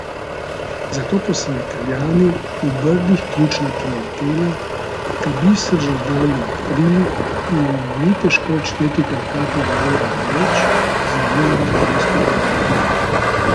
Zato pa so Italijani, v Brdih ključna klientela, ta biser že zdavnaj odkrili in jim ni težko odšteti kakega evra več za res vrhunske krožnike.